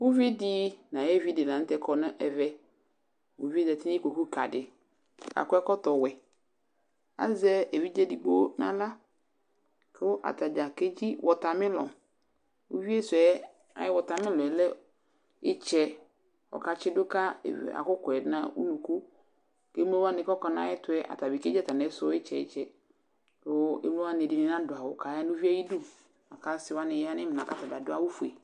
uvi di no ayevi lantɛ kɔ no ɛvɛ uvie zati no ikpoku ka di ko akɔ ɛkɔtɔ wɛ azɛ evidze edigbo no ala ko atadza ke dzi watamelɔn uvie so yɛ ayi watamelɔn lɛ itsɛ ko ɔka tsi do ka akokwa yɛ no unuku ko emlo wani ko akɔ no ayɛtoɛ atani kedzi atamiso itsɛ itsɛ ko emlo wani ɛdi ni nado awu ko aya no uvie ayidu lako ase wani ya no imla ko atabi ado awu fue